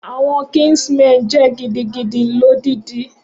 Awọn kinsmen jẹ gidigidi lodidi.